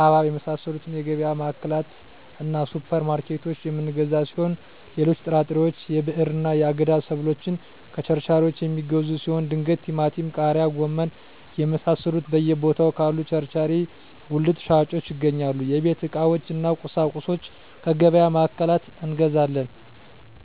ሀባብ የመሳሰሉትከየገቢያ ማዕከላትእና ሱፐር ማርኬቶች የምንገዛ ሲሆን ሌሎች ጥራጥሬዎች የብዕርና የአገዳ ሰብሎችን ከቸርቻሪዎች የሚገዙ ሲሆን ድንች ቲማቲም ቃሪያ ጎመን የመሳሰሉት በየ ቦታው ካሉ ቸርቻሪ ጉልት ሻጮች ይገኛል የቤት ዕቃዎች እነ ቁሳቁሶች ከገቢያ ማዕከላት እንገዛለን